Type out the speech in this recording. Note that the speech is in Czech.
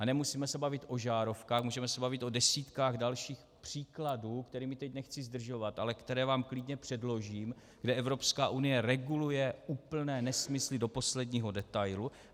A nemusíme se bavit o žárovkách, můžeme se bavit o desítkách dalších příkladů, kterými teď nechci zdržovat, ale které vám klidně předložím, kde Evropská unie reguluje úplné nesmysly do posledního detailu.